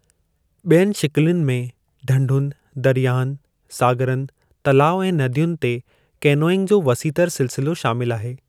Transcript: ॿियनि शकिलुनि में ढंढुनि, दरियाहनि, सागरनि, तलाउ ऐं नदियुनि ते केनोइंग जो वसीह तर सिलसिलो शामिलु आहे।